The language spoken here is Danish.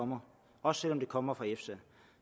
kommer også selv om den kommer fra efsa